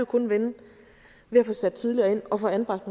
kun vende ved at få sat tidligere ind og få anbragt